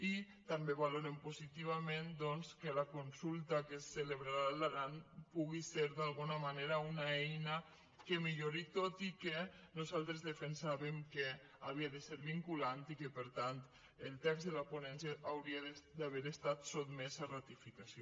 i també valorem positivament doncs que la consulta que es celebrarà a l’aran pugui ser d’alguna manera una eina que millori tot i que nosaltres defensàvem que havia de ser vinculant i que per tant el text de la ponència hauria d’haver estat sotmès a ratificació